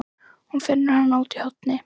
Hún finnur hana úti í horni.